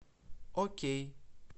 окей